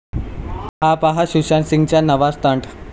हा पाहा सुशांत सिंगचा नवा स्टंट